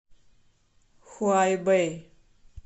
хуайбэй